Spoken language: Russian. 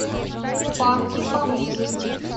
парки поблизости